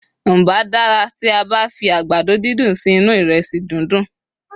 n bá dara ti a ba fi àgbàdo didun sí inú iresi dundun